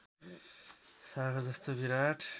सागर जस्तो विराट